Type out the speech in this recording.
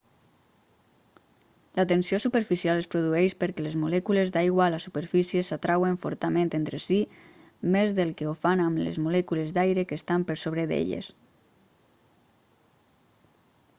la tensió superficial es produeix perquè les molècules d'aigua a la superfície s'atrauen fortament entre sí més del que ho fan amb les molècules d'aire que estan per sobre d'elles